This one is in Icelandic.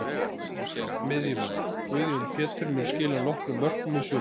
Miðjumenn: Guðjón Pétur mun skila nokkrum mörkum í sumar.